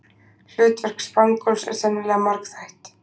Hlutverk spangóls er sennilega margþætt.